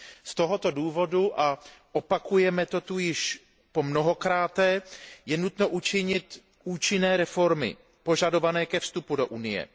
Z tohoto důvodu a opakujeme to zde již po mnohokrát je nutno učinit účinné reformy požadované ke vstupu do Unie.